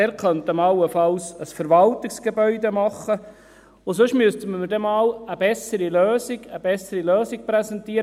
Dort könnte man allenfalls ein Verwaltungsgebäude machen, und sonst müsste man mir dann einmal eine bessere Lösung präsentieren.